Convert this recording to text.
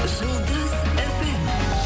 жұлдым фм